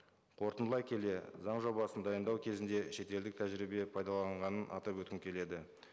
қорытындылай келе заң жобасын дайындау кезінде шетелдік тәжірибе пайдаланғанын атап өткім келеді